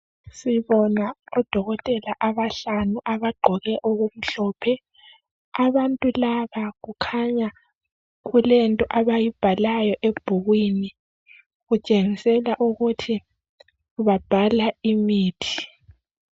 Sibona odokotela abahlanu abagqoke okumhlophe abantu laba kukhanya kulento abayibhalayo ebhukwini kuntshengisela ukuthi babhala imithi